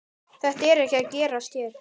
Þetta er ekki að gerast hér.